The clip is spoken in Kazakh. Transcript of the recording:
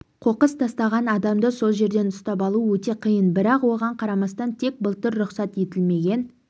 қоқыс тастаған адамды сол жерден ұстап алу өте қиын бірақ оған қарамастан тек былтыр рұқсат етілмеген